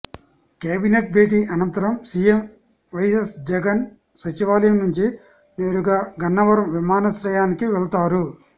cabinet భేటీ అనంతరం CM YS Jagan సచివాలయం నుంచి నేరుగా గన్నవరం విమానాశ్రయానికి వెళ్తారు